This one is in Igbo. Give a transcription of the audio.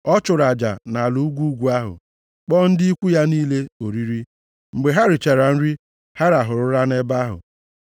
Ọ chụrụ aja nʼala ugwu ugwu ahụ, kpọọ ndị ikwu ya niile oriri. Mgbe ha richara nri, ha rahụrụ ụra nʼebe ahụ.